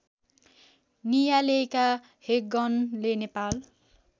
नियालेका हेगनले नेपाल